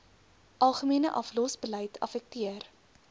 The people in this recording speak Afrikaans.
algemene aflosbeleid affekteer